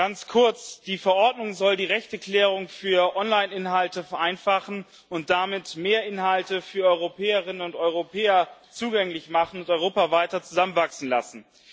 Ganz kurz Die Verordnung soll die Rechteklärung für Online Inhalte vereinfachen und damit mehr Inhalte für Europäerinnen und Europäer zugänglich machen und Europa weiter zusammenwachsen lassen.